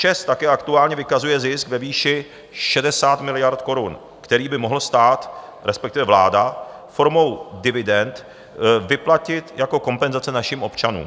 ČEZ také aktuálně vykazuje zisk ve výši 60 miliard korun, který by mohl stát, respektive vláda, formou dividend vyplatit jako kompenzace našim občanům.